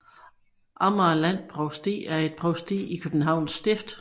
Amagerland Provsti er et provsti i Københavns Stift